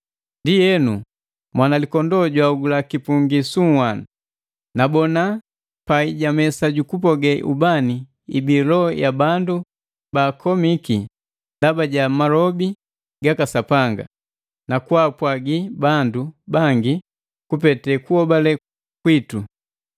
Ndienu, Mwanalikondoo jwahogula kipungi su nhwanu. Nabona pai ja mesa jukupoge ubani ibii loho ya bandu ba baakomiki ndaba ja malobi gaka Sapanga, na kwaapwagi bandu bangi kupete kuhobale kwitu.